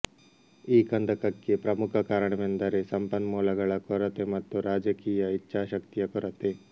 ಈ ಕಂದಕಕ್ಕೆ ಪ್ರಮುಖ ಕಾರಣವೆಂದರೆ ಸಂಪನ್ಮೂಲಗಳ ಕೊರತೆ ಮತ್ತು ರಾಜಕೀಯ ಇಚ್ಚಾಶಕ್ತಿಯ ಕೊರತೆ